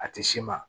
A tɛ s'i ma